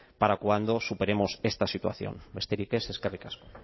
para cuando superemos esta situación besterik ez eskerrik asko